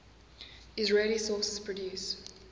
israeli sources produce